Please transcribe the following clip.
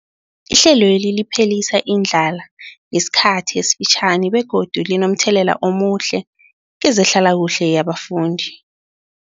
Ihlelweli liphelisa indlala yesikhathi esifitjhani begodu linomthelela omuhle kezehlalakuhle yabafundi.